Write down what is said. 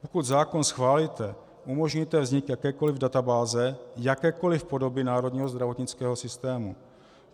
Pokud zákon schválíte, umožníte vznik jakékoliv databáze, jakékoliv podoby národního zdravotnického systému.